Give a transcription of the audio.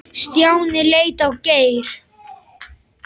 Stjáni leit á Geir.